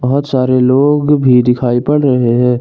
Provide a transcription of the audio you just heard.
बहुत सारे लोग भी दिखाई पड़ रहे हैं।